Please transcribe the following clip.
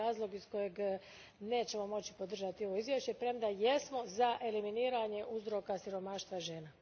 To je razlog iz kojeg nećemo moći podržati ovo izvješće, premda jesmo za eliminiranje uzroka siromaštva žena.